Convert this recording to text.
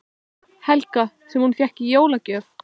Helga: Sem hún fékk í jólagjöf?